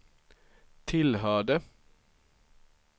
tillhörde